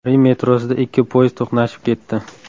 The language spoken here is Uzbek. Rim metrosida ikki poyezd to‘qnashib ketdi.